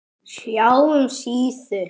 SJÁ SÍÐU.